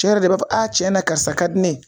Cɛ yɛrɛ de b'a fɔ a cɛna karisa ka di ne ye